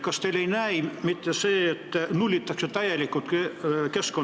Kas teile ei näi see mitte sellena, et Keskkonnainspektsioon nullitakse täielikult ära?